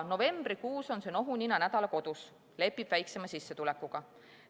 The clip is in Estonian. Novembrikuus on see nohunina nädala kodus, lepib väiksema sissetulekuga.